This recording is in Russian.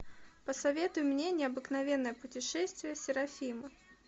посоветуй мне необыкновенное путешествие серафима